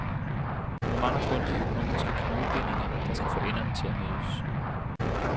Nu mangler kun de økonomiske knudebindinger, der skal få enderne til at mødes.